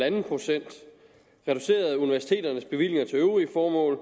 en pct reduceret universiteternes bevillinger til øvrige formål